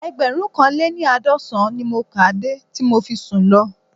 Ẹgbẹ̀rúnkanléní-àádọ́sàn-án ni mo kà á de tí mo fi sùn lọ